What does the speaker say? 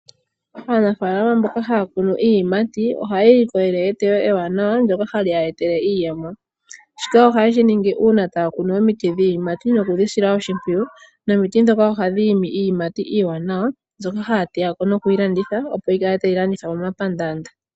Aanafaalama mboka haya kunu iiyimati ohaya ilikolele eteyo ewanawa ndoka hali ya etele iiyemo. Shika ohaye shi ningi uuna taa kunu omiti dhiiyimati noku dhi sila oshimpwiyu nomiti ndhoka ohadhi imi iiyimati iiwanawa mbyoka haya teya ko noku yi landitha opo yi kale tayi landithwa momapandaanda.